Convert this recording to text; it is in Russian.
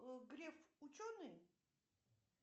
греф ученый